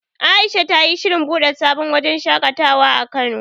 Aisha ta yi shirin buɗe sabon wajen shaƙatawa a Kano.